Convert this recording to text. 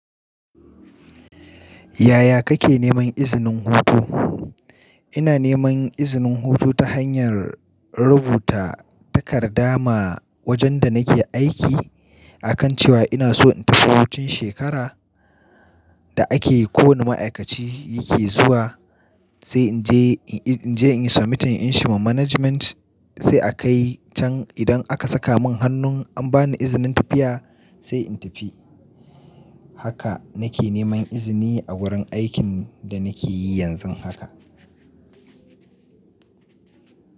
Yaya kake neman izinin hutu? Ina neman izinin hutu ta hanyar rubuta takarda ma wajen da nake aiki akan cewa ina so in tafi hutun shekara da ake kowane ma'aikaci yake zuwa. Sai in je, in je in submitting in shi ma management sai a kai can idan aka saka mun hannun an bani izinin tafiya sai in tafi. Haka nake neman izini a wurin aikin da nake yi yanzun haka.